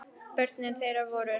Börn þeirra voru